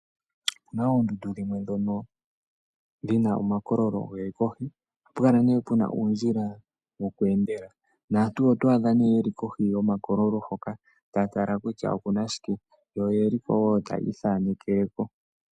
Opuna oondundu dhimwe ndhono dhi na omakololo ge li kohi. Ohapu kala pu na uundjila woku endela, naantu oto adha nduno ye li kohi taya ithaneke ko.